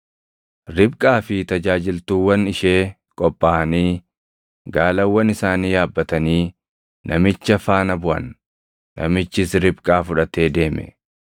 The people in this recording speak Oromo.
Ribqaa fi tajaajiltuuwwan ishee qophaaʼanii gaalawwan isaanii yaabbatanii namicha faana buʼan; namichis Ribqaa fudhatee deeme.